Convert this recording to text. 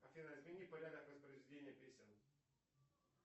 афина измени порядок воспроизведения песен